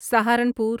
Saharanpur